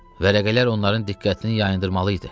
Vərəqələr onların diqqətini yayındırmalı idi.